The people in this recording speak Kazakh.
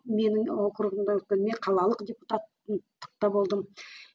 менің округімде мен қалалық депутаттықта болдым